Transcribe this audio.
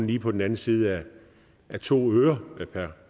lige på den anden side af to øre